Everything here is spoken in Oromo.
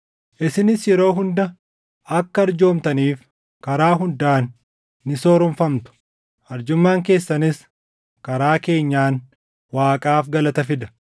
Isinis yeroo hunda akka arjoomtaniif karaa hundaan ni sooromfamtu; arjummaan keessanis karaa keenyaan Waaqaaf galata fida.